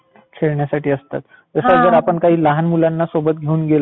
खेळण्यासाठी असतं. असं जर आपण काही लहान मुलांना सोबत घेऊन गेलो.